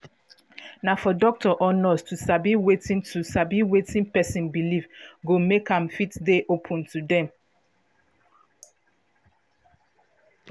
na for doctor or nurse to sabi wetin to sabi wetin person belief go make am fit dey open to dem